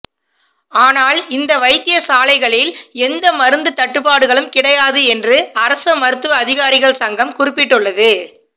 ஆனால் இந்த வைத்தியசாலைகளில் எந்த மருந்து தட்டுப்பாடுகளும் கிடையாது என்று அரச மருத்துவ அதிகாரிகள் சங்கம் குறிப்பிட்டுள்ளது